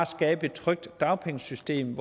skabe et trygt dagpengesystem